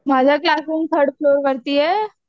माझा classroom third floor वरती आहे.